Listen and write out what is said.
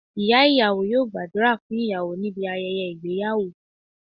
Ìyá ìyàwó yóò gbàdúrà fún ìyàwó níbi ayẹyẹ ìgbéyàwó